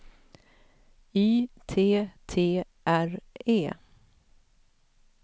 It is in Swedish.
Y T T R E